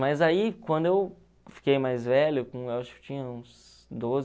Mas aí, quando eu fiquei mais velho, eu acho que eu tinha uns doze